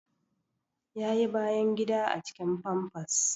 Ya yi bayan gida a cikin famfas